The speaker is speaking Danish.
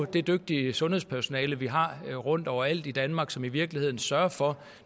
det dygtige sundhedspersonale vi har overalt i danmark som i virkeligheden sørger for